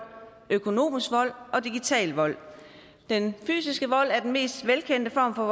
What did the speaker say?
økonomisk vold og digital vold den fysiske vold er den mest velkendte form for